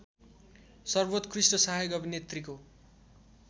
सर्वोत्कृष्ट सहायक अभिनेत्रीको